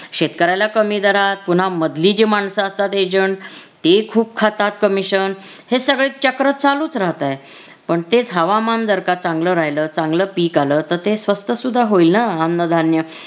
शेतकऱ्याला कमी दरात पुन्हा मधली जी माणसं असतात agent ती खूप खातात commission हे सगळं चक्र चालूच राहतंय पण तेच हवामान जर का चांगलं राहील चांगलं पीक आलं तर ते स्वस्थ सुद्धा होईल न अन्नधान्य